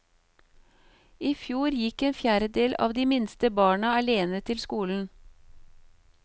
I fjor gikk en fjerdedel av de minste barna alene til skolen.